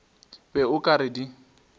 be o ka re di